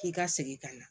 K'i ka segin ka na